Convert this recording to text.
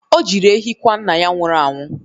O jiri ehi kwa nna ya nwụrụ anwụ.